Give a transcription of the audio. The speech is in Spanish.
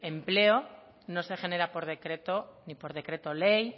el empleo no se genera por decreto ni por decreto ley